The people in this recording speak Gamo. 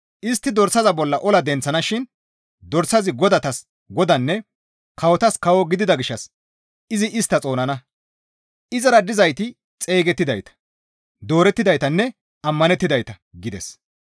Istti dorsaza bolla ola denththana shin dorsazi godatas Godaanne kawotas kawo gidida gishshas izi istta xoonana; izara dizayti xeygettidayta, doorettidaytanne ammanettidayta» gides.